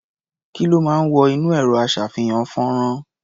Kí ló máa ń wọ inú ẹ̀rọ-aṣá̀fihàn-fọ́nrán?